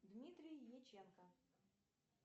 дмитрий яченко